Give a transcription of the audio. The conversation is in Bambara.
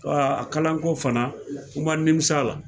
a kalanko fana o maa nimis'a la,